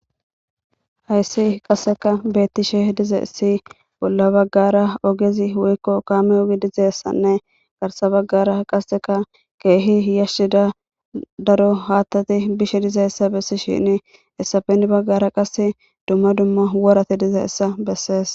Hays qaseka betishe dizays bolla bagara ogezi woyko kame ogey dizaysanne garsa bagara qaseka keeh yashida Gita daro hatat yishe dizaysa besishe hesappe hen bagara qase dumma dumma worat dizaysa beses.